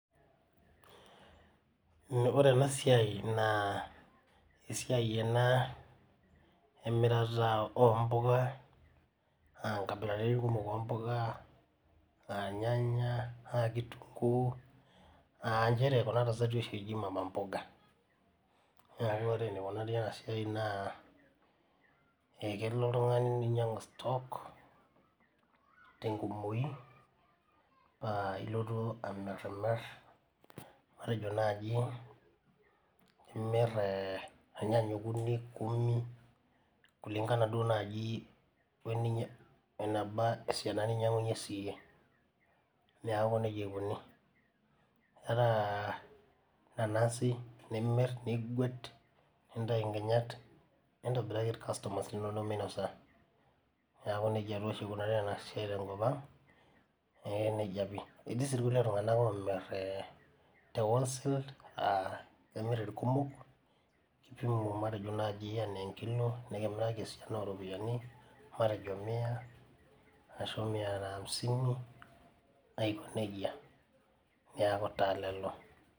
Ore enasia na esiai ena emirata ompuka aa nkabilaitin kumok ompuka ornyanya, kitunguu aa nchere kuna tasati oshi eji mama mboga na ore enikunari enasia na kelo oltungani ninyangu stok tenkumoi neaku ilotu anapinap matejo nai imit irnyanya okuni kumi kulingana nai weneba esiana ninyangunyie ore nanasi nimir nintau nkinyat nintobiraki irkastomani linonok minosa etii si irkuelie tunganak omir te wholesale kemir enaa enkilo nikimirika esiana oropiyiani aiko nejia neaku lelo.